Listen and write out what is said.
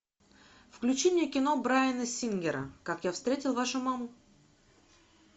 включи мне кино брайана сингера как я встретил вашу маму